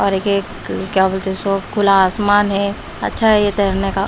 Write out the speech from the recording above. और ये क क्या बोलते इसको खुला आसमान है अच्छा है ये तैरने का--